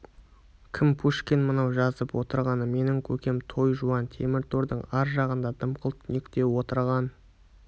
кім пушкин мынау жазып отырғаны менің көкем той жуан темір тордың ар жағында дымқыл түнекте отырған